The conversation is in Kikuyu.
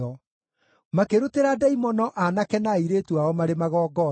Makĩrutĩra ndaimono aanake na airĩtu ao marĩ magongona.